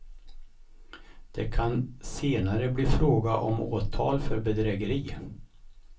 Det kan senare bli fråga om åtal för bedrägeri.